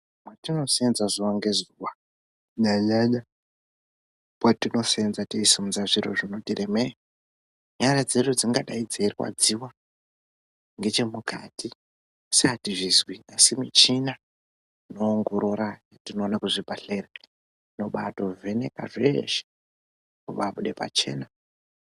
Mwatinoseenza zuva ngezuva, kunyanya mwatinoseenza teisumudza zviro zvinoti remei nyara dzedu dzingadai dzeirwadziwa ngechemukati asi atizvizwi asi muchina inoongorora yatinoona kuzvibhedhlera inotobazveneka zveshe zvobabuda pachena.